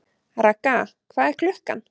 Ragga, hvað er klukkan?